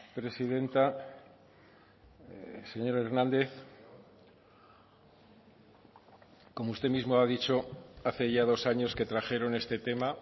presidenta señor hernández como usted mismo ha dicho hace ya dos años que trajeron este tema